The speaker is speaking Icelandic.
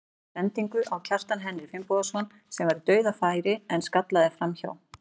Hann átti sendingu á Kjartan Henry Finnbogason sem var í dauðafæri en skallaði framhjá.